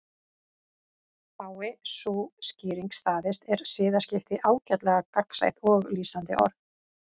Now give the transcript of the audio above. Fái sú skýring staðist er siðaskipti ágætlega gagnsætt og lýsandi orð.